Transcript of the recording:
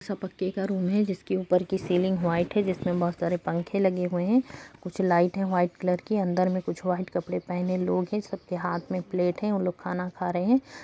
सब पक्के का रूम है जिसके ऊपर की सीलिंग व्हाइट है जिसमें बहुत सारे पंखे लगे हुए है कुछ लाइट है वाइट कलर की अंदर में कुछ व्हाइट कलर पहने लोग है सबके हाथ में एक प्लेट है उनलोग खाना खा रहे हैं।